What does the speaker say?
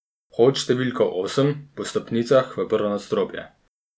Vhod številka osem, po stopnicah v prvo nadstropje.